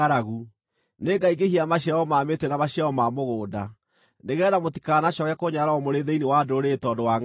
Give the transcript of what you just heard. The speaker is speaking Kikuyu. Nĩngaingĩhia maciaro ma mĩtĩ na maciaro ma mũgũnda, nĩgeetha mũtikanacooke kũnyararwo mũrĩ thĩinĩ wa ndũrĩrĩ tondũ wa ngʼaragu.